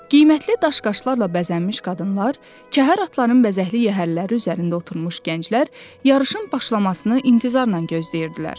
Qiymətli daş-qaşlarla bəzənmiş qadınlar, kəhər atların bəzəkli yəhərləri üzərində oturmuş gənclər yarışın başlamasını intizarla gözləyirdilər.